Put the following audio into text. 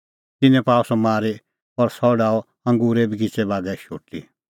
तिन्नैं पाअ सह मारी और सह डाहअ अंगूरे बगिच़ै बागै शोटी